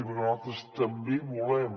perquè nosaltres també volem